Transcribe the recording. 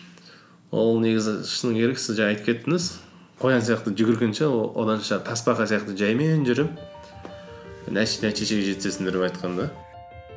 ол негізі шыны керек сіз жаңа айтып кеттіңіз қоян сияқты жүгіргенше оданша тасбақа сияқты жаймен жүріп нәтижеге жеткізесіңдер деп айтқан да